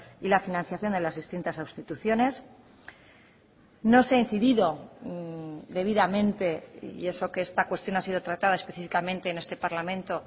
y la financiación de las distintas instituciones no se ha incidido debidamente y eso que esta cuestión ha sido tratada específicamente en este parlamento